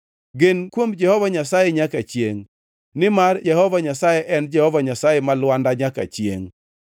Gen kuom Jehova Nyasaye nyaka chiengʼ, nimar Jehova Nyasaye en Jehova Nyasaye ma Lwanda nyaka chiengʼ.